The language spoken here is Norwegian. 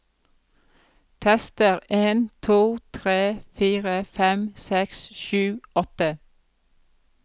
Tester en to tre fire fem seks sju åtte